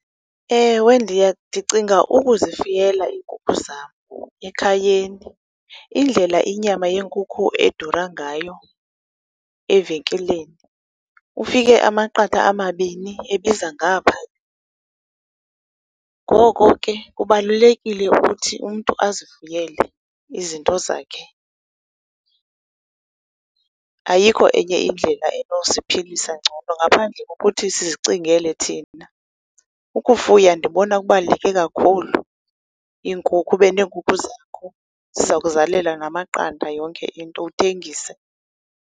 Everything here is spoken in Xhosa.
Ewe ndicinga ukuzifuyela iinkukhu zam ekhayeni, indlela inyama yenkukhu edura ngayo evenkileni ufike amaqatha amabini ebiza ngaphaa. Ngoko ke kubalulekile ukuthi umntu azifuyele izinto zakhe, ayikho enye indlela enosiphilisa ngcono ngaphandle kokuthi sizicingele thina. Ukufuya ndibona kubaluleke kakhulu, iinkukhu, ube neenkukhu zakho ziza kukuzalela namaqanda yonke into uthengise.